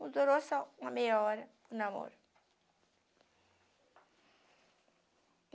Não durou só uma meia hora o namoro.